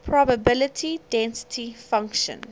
probability density function